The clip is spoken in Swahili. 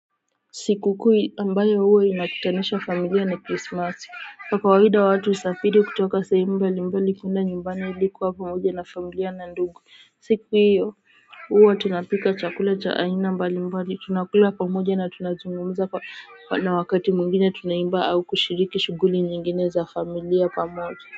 Sikukuu ambayo hua inaunganisha familia ni crismasi kwa kawaida watu husafiri kutoka sehemu mbalimbali kuenda nyumbani adi kuwa pamoja n familia na ndugu siku iyo hua tunapika chakula cha aina mbalimbali tunakula pamoja n tunazungumza na wakati mwigine tunaiba au kushiriki shughuli nyigine za familia pamoja.